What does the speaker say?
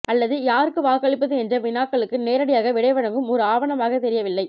அல்லது யாருக்கு வாக்களிப்பது என்ற வினாக்களுக்கு நேரடியாக விடைவழங்கும் ஒரு ஆவணமாகத்தெரியவில்லை